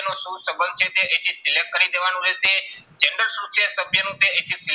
નો શું સંબંધ છે તે અહીંથી select કરી દેવાનું રહેશે. શું છે સભ્યનું તે અહીંથી